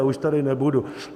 Já už tady nebudu.